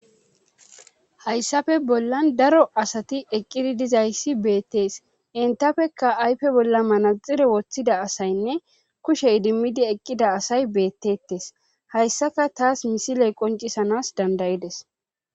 hayssafe bollan daro asati eqqidi dizayssi beettees entafekka ayfe bolla manaxire woththida asaynne kushe idimmidi eqqida asay beettettes hayssaka taas misiley qoncisanas dandayides